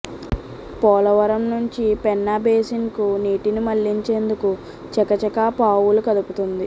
పోలవరం నుంచి పెన్నా బేసిన్కు నీటిని మళ్లించేందుకు చకాచకా పావులు కదుపుతోంది